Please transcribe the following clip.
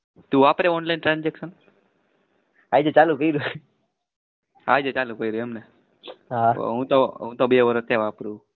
તું વાપરે online transaction?